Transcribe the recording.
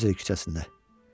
Klozer küçəsində.